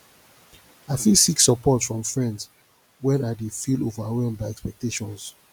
i fit seek support from friends when i dey feel overwhelmed by expectations